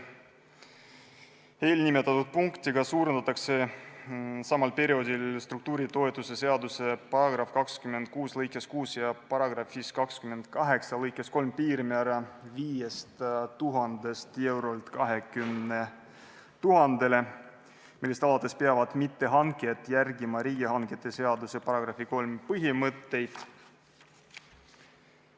Eelnimetatud punktiga suurendatakse samal perioodil struktuuritoetuse seaduse § 26 lõikes 6 ja § 28 lõikes 3 piirmäära 5000-lt eurolt 20 000-le eurole, millest alates peavad mittehankijad järgima riigihangete seaduse § 3 põhimõtteid.